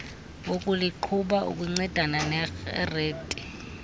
wokuliqhuba ukuncedana nered